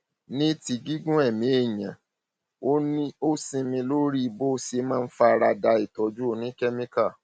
ní ti gígùn ẹmí èèyàn ó ó sinmi lórí bó ṣe máa fara da ìtọjú oníkẹmíkà